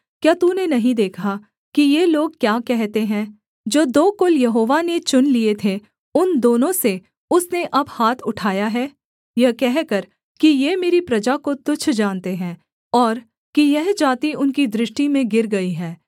क्या तूने नहीं देखा कि ये लोग क्या कहते हैं जो दो कुल यहोवा ने चुन लिए थे उन दोनों से उसने अब हाथ उठाया है यह कहकर कि ये मेरी प्रजा को तुच्छ जानते हैं और कि यह जाति उनकी दृष्टि में गिर गई है